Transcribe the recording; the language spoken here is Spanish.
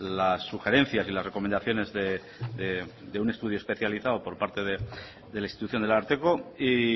las sugerencias y las recomendaciones de un estudio especializado por parte de la institución del ararteko y